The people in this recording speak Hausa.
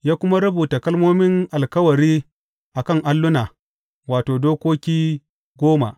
Ya kuma rubuta kalmomin alkawari a kan alluna, wato, dokoki goma.